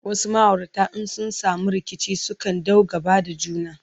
wasu maaurata in sun samu rikici sukan ɗau gaba da juna